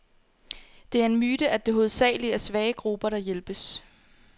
Det er en myte, at det hovedsageligt er svage grupper, der hjælpes.